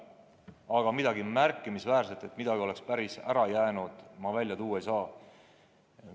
Aga midagi märkimisväärset, et midagi oleks päris ära jäänud, ma välja tuua ei saa.